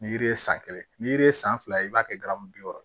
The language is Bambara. Ni yiri ye san kelen ni yiri ye san fila i b'a kɛ garamu